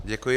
Děkuji.